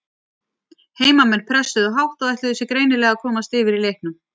Heimamenn pressuðu hátt og ætluðu sér greinilega að komast yfir í leiknum.